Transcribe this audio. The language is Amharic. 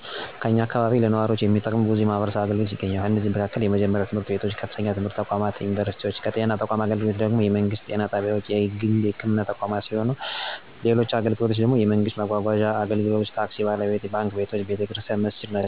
ከኛ አካባቢ ለነዋሪዎች የሚጠቅሙ በዙ የማህበረሰብ አገልግሎቶች ይገኛሉ። ከነዚህም ውስጥ የመጀመሪያ ደረጃ ትምህርት ቤቶች፣ ከፍተኛ ደረጃ ትምህርት ቤቶች እና ዩኒቨርሲቲዎች አሉ። ከጤና አገልግሎቶች ውስጥ ደግም የመንግስት ጤና ጣቢያ፣ የግል ህክምና ቦታዎች እንዲሁም ዩኒቨርሲቲ ሆስፒታል አለ። ከነዚህ በተጨማሪም ቀበሌ ጽ/ቤት፣ የመንገድ ማጓጓዣ እና መጓጓዣ አገልግሎቶች (ታክሲ፣ ባስ)፣ባንክ፣ ቤተ ክርስቲያን እና መስጊድ እና መዝናኛ ወይም ካፊ ሁሉም አሉ።